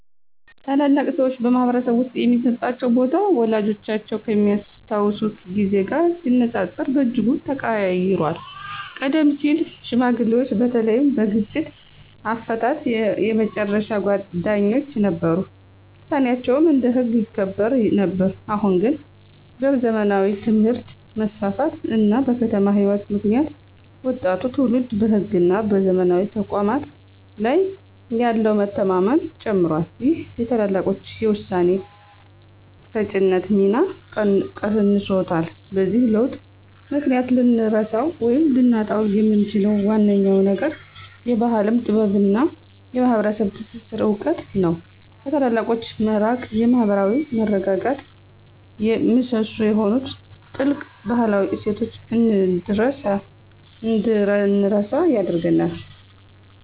ታላላቅ ሰዎች በማኅበረሰብ ውስጥ የሚሰጣቸው ቦታ ወላጆቻችን ከሚያስታውሱት ጊዜ ጋር ሲነጻጸር በእጅጉ ተቀይሯል። ቀደም ሲል ሽማግሌዎች በተለይም በግጭት አፈታት የመጨረሻ ዳኞች ነበሩ፤ ውሳኔያቸውም እንደ ሕግ ይከበር ነበር። አሁን ግን በዘመናዊ ትምህርት መስፋፋት እና በከተማ ሕይወት ምክንያት ወጣቱ ትውልድ በሕግና በዘመናዊ ተቋማት ላይ ያለው መተማመን ጨምሯል ይህም የታላላቆችን የውሳኔ ሰጪነት ሚና ቀንሶታል። በዚህ ለውጥ ምክንያት ልንረሳው ወይም ልናጣው የምንችለው ዋነኛው ነገር የባሕል ጥበብና የማኅበረሰብ ትስስር እውቀት ነው። ከታላላቆች መራቅ የማኅበራዊ መረጋጋት ምሰሶ የሆኑትን ጥልቅ ባህላዊ እሴቶች እንድንረሳ ያደርገናል።